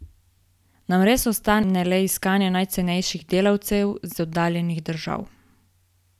Nam res ostane le iskanje najcenejših delavcev iz oddaljenih držav?